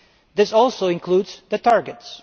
This also includes the targets.